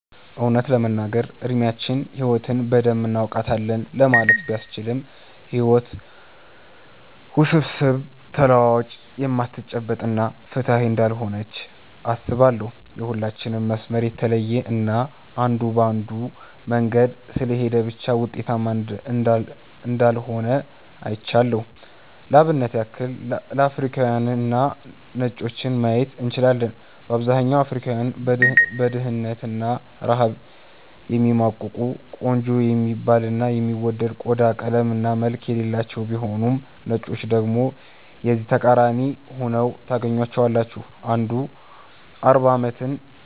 እውነት ለመናገር እድሚያችን ህይወትን በደንብ እናውቃታለን ለማለት ባያስችልም ህይወት ውስብስብ፣ ተለዋዋጭ፣ የማትጨበጥ እና ፍትሃዊ እንዳልሆነች አስባለው። የሁላችንም መስመር የተለየ እና አንዱ በአንዱ መንገድ ስለሄደ ብቻ ውጤታማ እንዳልሆነ አይቻለው። ለአብነት ያክል አፍሪካውያንንና ነጮችን ማየት እንችላለን። በአብዛኛው አፍሪካውያን በድህነት እና ረሃብ የሚማቅቁ፤ ቆንጆ የሚባል እና የሚወደድ ቆዳ ቀለም እና መልክ የሌላቸው ቢሆኑም ነጮችን ደግሞ የዚህ ተቃራኒ ሁነው ታገኛቸዋለህ። አንዱ 40 አመታትን